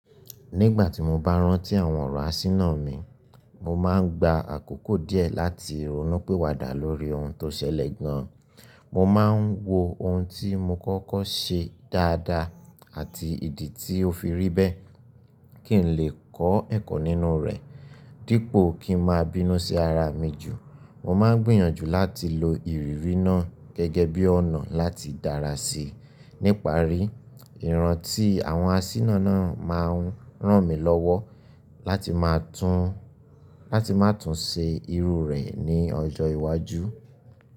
Nígbà tí mo bá rántí àwọn ọ̀rọ̀ àsínà mi, mo máa ń gba àkókò díẹ̀ láti ronúpìwádà lórí ohun tó ṣẹlẹ̀ gan. Mo máa ń wo ohun tí mo kọ́kọ́ ṣe dáadáa àti ìdí tí ó fi rí bẹ́ẹ̀ kí n lè kọ́ ẹ̀kọ́ nínú rẹ̀. Dípò kí n máa bínú sí ara mi jù, mo máa ń gbìyànjú láti lo ìrírí náà gẹ́gẹ́ bí ọ̀nà láti dára sí i. Níparí, ìran tí àwọn àsínà náà máa ń rán mi lọ́wọ́ lati maa láti má tún ṣe irú rẹ̀ ní ọjọ́ iwájú.